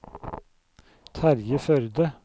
Terje Førde